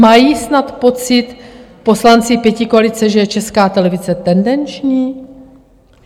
Mají snad pocit poslanci pětikoalice, že je Česká televize tendenční?